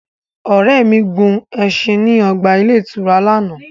Ore mi gun ẹṣin ni o ọgba-ìturá làná.